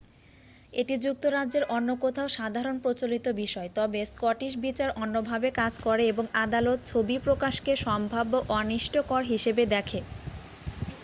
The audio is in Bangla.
এটি যুক্তরাজ্যের অন্য কোথাও সাধারণ প্রচলিত বিষয় তবে স্কটিশ বিচার অন্যভাবে কাজ করে এবং আদালত ছবি প্রকাশকে সম্ভাব্য অনিষ্টকর হিসেবে দেখে